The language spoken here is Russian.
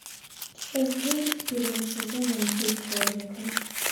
часть девять первого сезона быть человеком